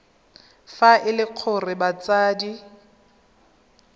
fa e le gore batsadi